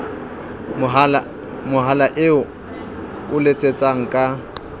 mohala eo o letsang ka